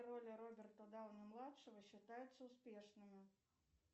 роли роберта дауни младшего считаются успешными